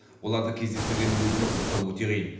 оларды кездестіргеннің өзінде құрықтау өте қиын